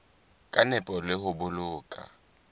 ka nepo le ho boloka